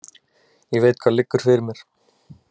Ég veit hvað liggur fyrir mér.